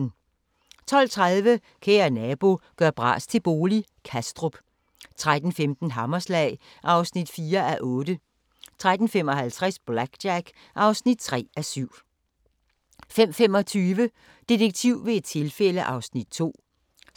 12:30: Kære nabo – gør bras til bolig – Kastrup 13:15: Hammerslag (4:8) 13:55: BlackJack (3:7) 15:25: Detektiv ved et tilfælde (2:9)